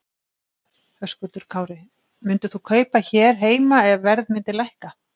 Höskuldur Kári: Myndir þú kaupa hér heima ef að verð myndi lækka?